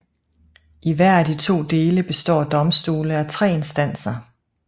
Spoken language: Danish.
I hver af de to dele består domstole af tre instanser